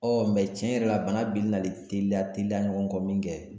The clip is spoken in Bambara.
mɛ tiɲɛ yɛrɛ la bana binni nalen teliya teliya ɲɔgɔn kɔ min kɛ